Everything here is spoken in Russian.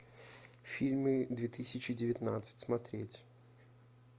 фильмы две тысячи девятнадцать смотреть